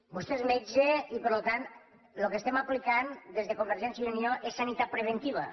vostè és metge i per tant lo que estem aplicant des de convergència i unió és sanitat preventiva